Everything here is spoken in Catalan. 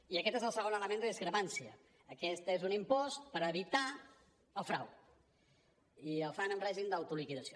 i aquest és el segon element de discrepància aquest és un impost per evitar el frau i el fan amb règim d’autoliquidació